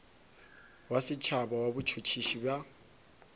wa setšhaba wa botšhotšhisi bja